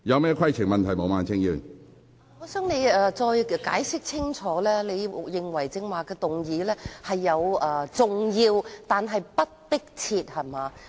主席，我想請你清楚解釋，你是否認為有關事宜重要但不迫切？